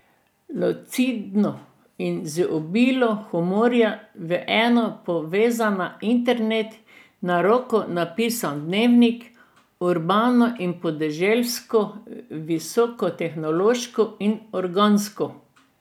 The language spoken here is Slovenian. Lucidno in z obilo humorja v eno povezana internet in na roko napisan dnevnik, urbano in podeželsko, visokotehnološko in organsko.